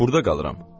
Burda qalıram.